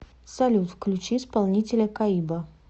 салют включи исполнителя каиба